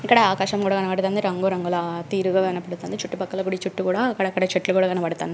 ఇక్కడ ఆకాశం గూడా కనబడుతంది రంగు రంగులా తీరుగా కనబడుతంది చుట్టు పక్కల గుడి చుట్టు గూడా అక్కడక్కడా చెట్లు గూడా కనబడతాన్నా --